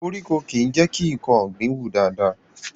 Koríko kìí jẹ́ kí nǹkan ọ̀gbìn wù dáadáa